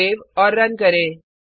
save और run करें